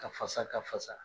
Ka fasa, ka fasa